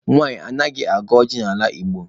Nwanyị anaghị agọ ọjị n'ala Igbo.